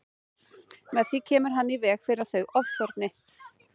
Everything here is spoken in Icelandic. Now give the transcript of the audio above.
Með því kemur hann í veg fyrir að þau ofþorni.